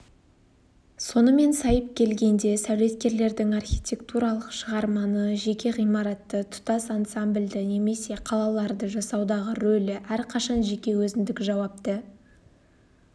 сонымен сайып келгенде сәулеткердің архитектуралық шығарманы жеке ғимаратты тұтас ансамбльді немесе қалаларды жасаудағы рөлі әрқашан жеке өзіндік жауапты